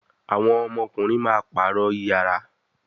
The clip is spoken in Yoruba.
àwọn ọmọkunrin má parọ iyàrá